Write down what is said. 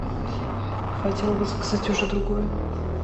хотела бы заказать уже другое